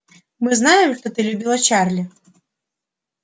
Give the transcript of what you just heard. мы знаем что ты любила чарли